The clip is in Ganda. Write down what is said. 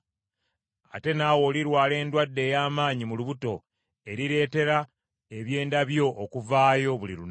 ate naawe olirwala obulwadde obw’amaanyi mu lubuto, erireetera ebyenda byo okuvaayo, buli lunaku.’ ”